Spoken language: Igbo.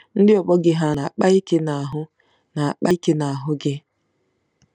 Ndị ọgbọ gị hà na-akpa ike n'ahụ́ na-akpa ike n'ahụ́ gị?